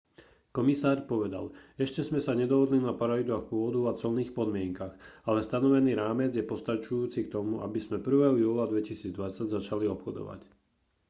komisár povedal ešte sme sa nedohodli na pravidlách pôvodu a colných podmienkach ale stanovený rámec je postačujúci k tomu aby sme 1. júla 2020 začali obchodovať